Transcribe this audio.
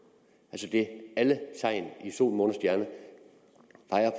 altså alle i sol måne